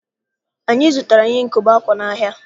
Anyị zụtara ihe nkobe akwa n'ahịa.